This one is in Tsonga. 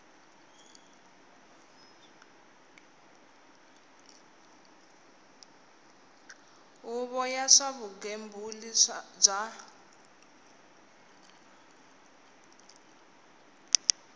huvo ya swa vugembuli bya